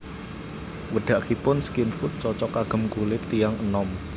Wedakipun Skin Food cocok kagem kulit tiyang enom